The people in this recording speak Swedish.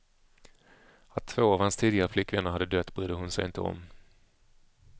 Att två av hans tidigare flickvänner hade dött brydde hon sig inte om.